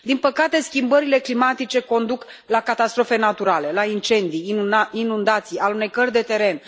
Din păcate, schimbările climatice conduc la catastrofe naturale, la incendii, inundații, alunecări de teren.